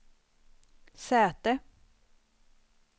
säte